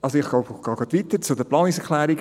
Ich gehe gleich weiter zu den Planungserklärungen.